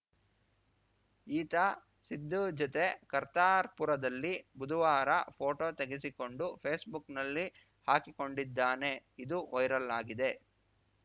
ಈತ ಸಿದ್ದು ಜೊತೆ ಕರ್ತಾರ್‌ಪುರದಲ್ಲಿ ಬುದುವಾರ ಫೋಟೋ ತೆಗೆಸಿಕೊಂಡು ಫೇಸ್‌ಬುಕ್‌ನಲ್ಲಿ ಹಾಕಿಕೊಂಡಿದ್ದಾನೆ ಇದು ವೈರಲ್‌ ಆಗಿದೆ